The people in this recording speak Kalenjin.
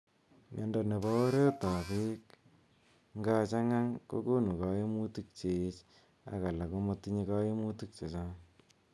Miondo nepo oreet ap beek ngachang'ang kokonu kaimutik cheech ak alak ko matinye kaimutik chechang'.